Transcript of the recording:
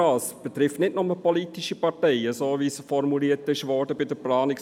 Es betrifft nicht nur – wie dies in den Planungserklärungen formuliert ist – politische Parteien.